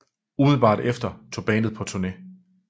Umiddelbart efter tog bandet på turné